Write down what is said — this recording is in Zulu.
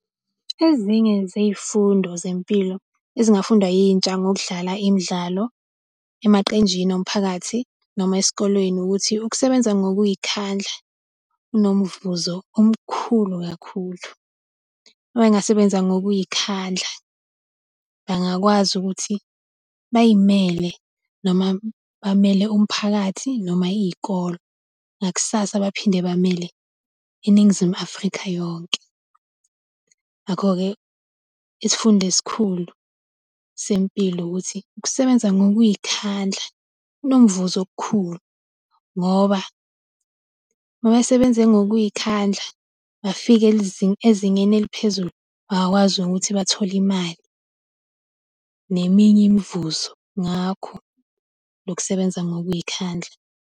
Ezinye zey'fundo zempilo ezingafundwa yintsha ngokudlala imidlalo emaqenjini omphakathi noma esikolweni ukuthi ukusebenza ngokuy'khandla kunomvuzo omkhulu kakhulu. Uma bengasebenza ngokuy'khandla, bengakwazi ukuthi bay'mele noma bamele umphakathi noma iy'kolo nakusasa baphinde bamele iNingizimu Afrika yonke. Ngakho-ke, isifundo esikhulu sempilo ukuthi ukusebenza ngokuy'khandla kunomvuzo okukhulu ngoba uma esebenze ngokuy'khandla bafike ezingeni eliphezulu bangakwazi ukuthi bathole imali neminye imvuzo ngakho lokusebenza ngokuy'khandla.